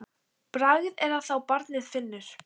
Bragð er að þá barnið finnur!